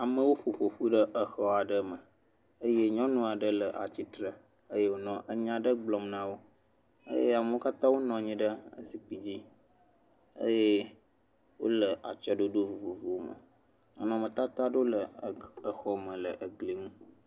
Amewo ƒo ƒƒ ƒu ɖe exɔ aɖe me eye nyɔnu aɖe nɔ atsitre eye wònɔ enya aɖe gblɔm na wo eye amewo katã wonɔ anyi ɖe zikpi dzi eye wole atsyɔ̃ɖoɖo vovovowome. Nɔnɔmetata aɖewo le exɔme le egli ŋu.